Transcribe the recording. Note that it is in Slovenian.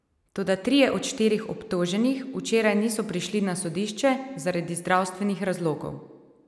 Toda trije od štirih obtoženih včeraj niso prišli na sodišče zaradi zdravstvenih razlogov.